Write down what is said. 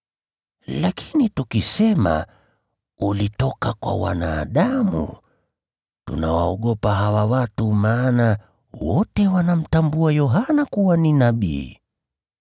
Lakini tukisema, ‘Ulitoka kwa wanadamu,’ tunawaogopa hawa watu, maana wote wanamtambua Yohana kuwa ni nabii.”